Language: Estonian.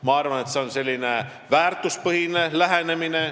Ma arvan, et see on väärtuspõhine lähenemine.